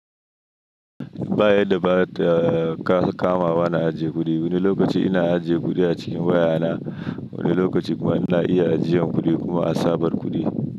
Ba yadda ba ta kama wa na ajiye kuɗi. Wani lokaci ina ajiye kuɗi a cikin waya na, wani lokaci kuma ina iya ajiyan kuɗi kuma a sabar kuɗi.